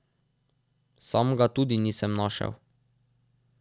Sam ga tudi nisem našel.